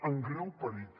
en greu perill